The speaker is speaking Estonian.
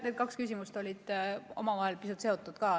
Need kaks küsimust on omavahel pisut seotud.